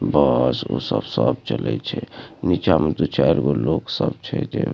बस उस स सब चलै छे निचाम दु-चायर गो लोग सब छे जे --